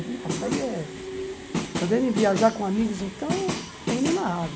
Nossa, aí é... Poder viajar com amigos, então, é inenável.